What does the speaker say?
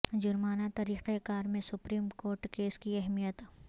جرمانہ طریقہ کار میں سپریم کورٹ کیس کی اہمیت